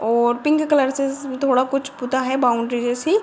और pink colour से थोड़ा कुछ पुता है बाउंड्री जैसी।